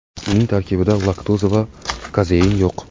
Uning tarkbida laktoza va kazein yo‘q.